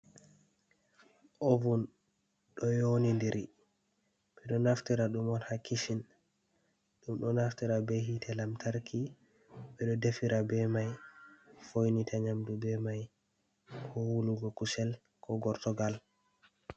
Ovun ɗo yoo nidi ɗiri, ɓe ɗo naftira ɗum on ha kichin. d Ɗum ɗo naftira be hite lamtarki, ɓe ɗo defira be mai, foinita nyamdu be mai, ko wulugo kusel ko gortogal.